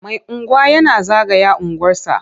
Mai unguwa yana zagaya unguwarsa.